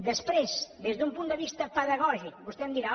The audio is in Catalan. després des d’un punt de vista pedagògic vostè em dirà